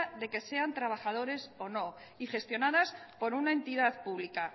de que sean trabajadores o no y gestionadas por una entidad pública